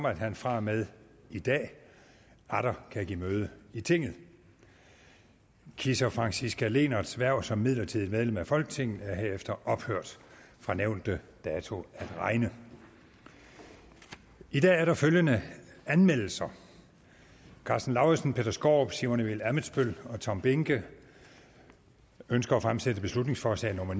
at han fra og med i dag atter kan give møde i tinget kisser franciska lehnerts hverv som midlertidigt medlem af folketinget er herefter ophørt fra nævnte dato at regne i dag er der følgende anmeldelser karsten lauritzen peter skaarup simon emil ammitzbøll og tom behnke ønsker at fremsætte beslutningsforslag nummer